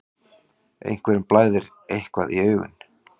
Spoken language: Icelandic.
Einhverjum blæðir eitthvað í augum